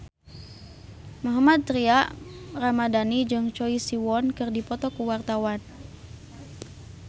Mohammad Tria Ramadhani jeung Choi Siwon keur dipoto ku wartawan